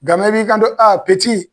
Ga i b'i kanto